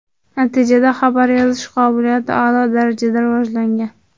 Natijada xabar yozish qobiliyati a’lo darajada rivojlangan.